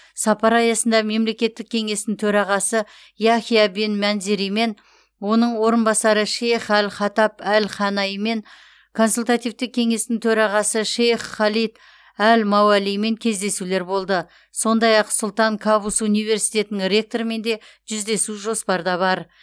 сапар аясында мемлекеттік кеңестің төрағасы яхия бен манзеримен оның орынбасары шейх әл хатаб әл ханаимен консультативтік кеңестің төрағасы шейх халид әл мауалимен кездесулер болды сондай ақсұлтан кабус университетінің ректорымен де жүздесу жоспарда бар